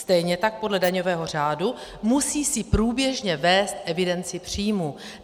Stejně tak podle daňového řádu si musí průběžně vést evidenci příjmů.